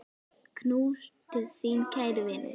Knús til þín, kæri vinur.